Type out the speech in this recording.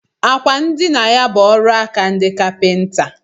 Àkwà ndina ya bụ ọrụaka ndị kapinta